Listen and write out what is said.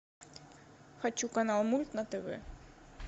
хочу канал мульт на тв